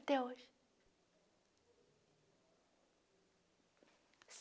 Até hoje.